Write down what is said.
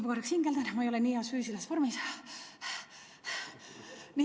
Ma natuke hingeldan, ma ei ole nii heas füüsilises vormis.